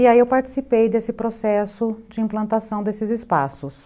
E aí eu participei desse processo de implantação desses espaços.